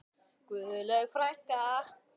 Guðlaug frænka.